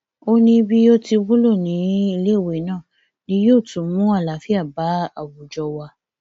ó ní bí yóò ti wúlò níléèwé náà ni yóò tún mú àlàáfíà bá àwùjọ wa